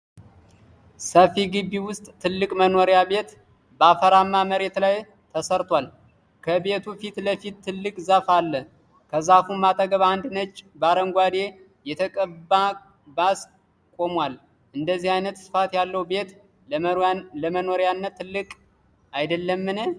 ሰፊ ግቢ ዉስጥ ትልቅ መኖሪያ ቤት በአፈራማ መሬት ላይ ተሰርቷል። ከቤቱ ፊትለፊት ትልቅ ዛፍ አለ ከዛፉም አጠገብ አንድ ነጭ በአረንጓዴ የተቀባ ባስ ቆሟል። እንደዚህ አይነት ስፋት ያለው ቤት ለመኖሪያነት ትልቅ አይደልም?